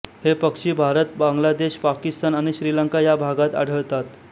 हे पक्षी भारत बांगलादेश पाकिस्तान आणि श्रीलंका या भागात आढळतात